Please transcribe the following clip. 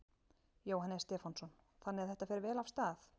Jóhannes Stefánsson: Þannig að þetta fer vel af stað?